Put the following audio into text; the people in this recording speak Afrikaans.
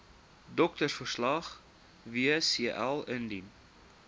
doktersverslag wcl indien